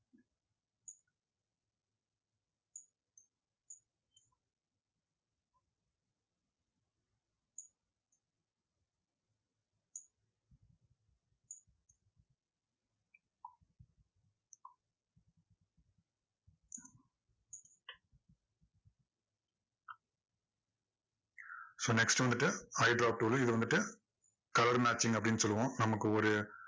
so next வந்துட்டு hydro tool உ. இது வந்துட்டு color matching அப்படின்னு சொல்லுவோம். நமக்கு ஒரு